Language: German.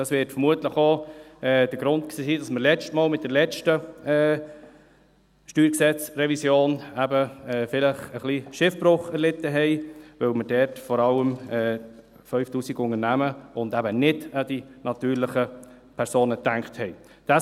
Dies wird vermutlich auch der Grund dafür gewesen sein, dass wir das letzte Mal – bei der letzten StG-Revision – eben vielleicht etwas Schiffbruch erlitten: dass wir dort vor allem an die 5000 Unternehmen und eben nicht an die natürlichen Personen gedacht haben.